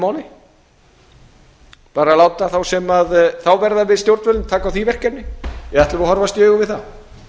máli bara láta þá sem þá verða við stjórnvölinn taka á því verkefni eða ætlum við að horfast í augu við það